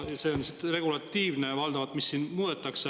See, mida siin muudetakse, on valdavalt regulatiivne.